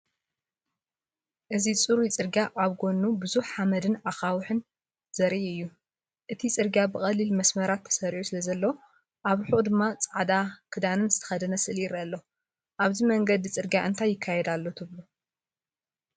እዚ ጽሩብ ጽርግያን ኣብ ጎድኑ ብዙሕ ሓመድን ኣኻውሕን ዘርኢ እዩ። እቲ ጽርግያ ብቐሊል መስመራት ተሰሪዑ ስለዘሎ፡ ኣብ ርሑቕ ድማ ጻዕዳ ክዳን ዝተኸድነ ስእሊ ይረአ። ኣብዚ መንገዲ ፅርግያ እንታይ ይካየድ ኣሎ ትብሉ?